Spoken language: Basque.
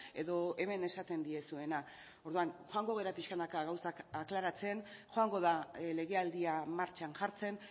edo hemen esaten diezuena orduan joango gara pixkanaka gauzak aklaratzen joango da legealdia martxan jartzen